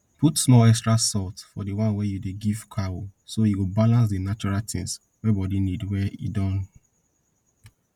put small extra salt for the one wey you dey give cow so e go balance di natural tins wey body need wey e don